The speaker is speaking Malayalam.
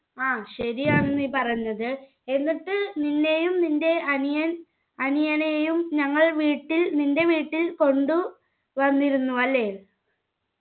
ആ ശരിയാണ് നീ പറഞ്ഞത് എന്നിട്ട് നിന്നെയും നിന്റെ അനിയൻ അനിയനെയും ഞങ്ങൾ വീട്ടിൽ നിന്റെ വീട്ടിൽ കൊണ്ടു വന്നിരുന്നു അല്ലെ